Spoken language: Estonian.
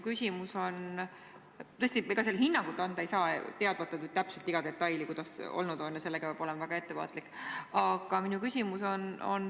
Tõesti, ega selle kohta hinnangut anda ei saa, kui pole täpselt kõiki detaile teada – sellega peab väga ettevaatlik olema.